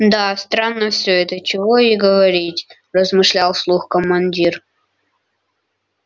да странно всё это чего и говорить размышлял вслух командир